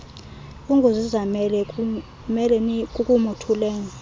unguzizamele nimele kukumothulela